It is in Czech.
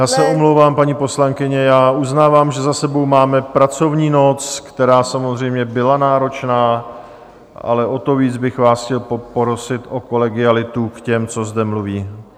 Já se omlouvám, paní poslankyně, já uznávám, že za sebou máme pracovní noc, která samozřejmě byla náročná, ale o to víc bych vás chtěl poprosit o kolegialitu k těm, co zde mluví.